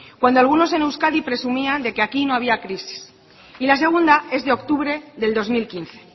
cuando algunos en euskadi presumían de que aquí no había crisis y la segunda es de octubre del dos mil quince